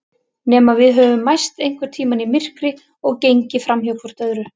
Nema við höfum mæst einhvern tíma í myrkri og gengið framhjá hvort öðru.